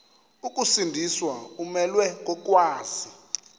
ukusindiswa umelwe kokwazi